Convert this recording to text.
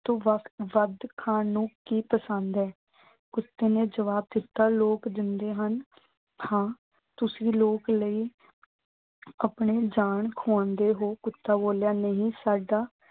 ਤੋਂ ਵੱਧ ਖਾਣ ਨੂੰ ਕੀ ਪਸੰਦ ਐ। ਕੁੱਤੇ ਨੇ ਜਵਾਬ ਦਿੱਤਾ। ਲੋਕ ਦਿੰਦੇ ਹਨ। ਹਾਂ ਤੁਸੀਂ ਲੋਕ ਲਈ ਆਪਣੀ ਜਾਨ ਖੁਆਉਂਦੇ ਹੋ। ਕੁੱਤਾ ਬੋਲਿਆ ਨਹੀਂ ਸਾਡਾ